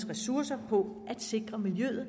ressourcerne på at sikre miljøet